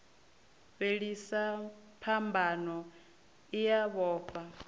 fhelisa phambano i a vhofha